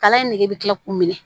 Kala in nege bɛ kila k'u minɛ